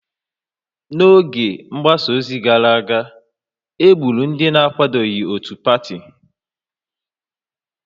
N'oge mgbasa ozi gara aga, e gburu ndị na-akwadoghị otu pati